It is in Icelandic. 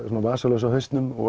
vasaljós á hausnum og